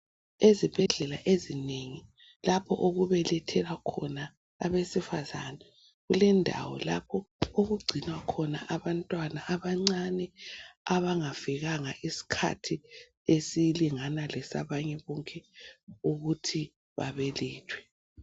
Ezibhedlela ezinengi lapho okubelethelwa khona abesifazana kulendawo lapho okugcinwa khona abantwana abancane abangafikanga isikhathi esilingana lesabanye bonke ukuthi babelethwe.